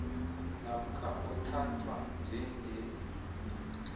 namkha othathwa njengewili